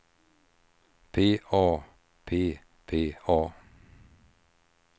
P A P P A